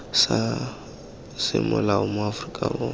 sa semolao mo aforika borwa